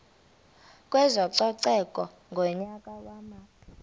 kwezococeko ngonyaka wama